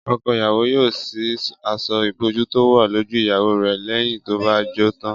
Ọkọ ìyàwó yóò ṣí aṣọ ìbòjú tó wà lójú ìyàwó rẹ̀ lẹ́yìn tó bá jó tán